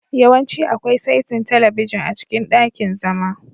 Yawanci akwai saitin talabijin a cikin ɗakin zama.